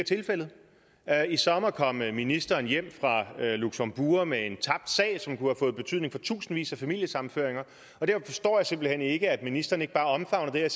er tilfældet i sommer kom ministeren hjem fra luxembourg med en tabt sag som kunne have fået betydning for tusindvis af familiesammenføringer og derfor forstår jeg simpelt hen ikke at ministeren ikke bare omfavner det her